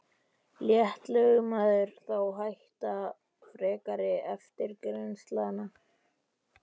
Lét lögmaður þá hætta frekari eftirgrennslan.